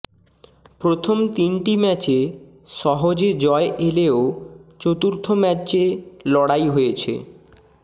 প্রথম তিনটি ম্যাচে সহজে জয় এলেও চতুর্থ ম্যাচে লড়াই হয়েছে